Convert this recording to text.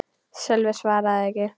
Sölvi svaraði ekki.